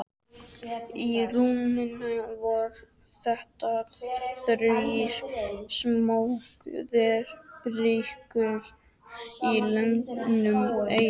Í rauninni voru þetta þrír sambyggðir braggar í lögun einsog